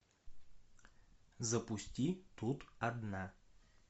запусти тут одна